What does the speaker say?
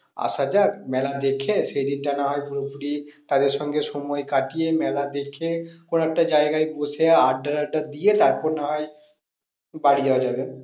আসা যাক মেলা দেখে সেই দিনটা না হয় পুরোপুরি তাদের সঙ্গে সময় কাটিয়ে মেলা দেখে কোনো একটা জায়গায় বসে আড্ডা টাড্ডা দিয়ে তারপর না হয় বাড়ি যাওয়া যাবে।